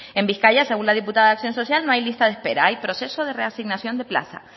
en bizkaia según la diputada de acción social no hay lista de espera hay proceso de reasignación de plazas